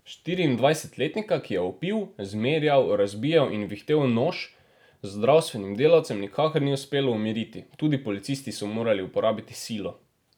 Štiriindvajsetletnika, ki je vpil, zmerjal, razbijal in vihtel nož, zdravstvenim delavcem nikakor ni uspelo umiriti, tudi policisti so morali uporabiti silo.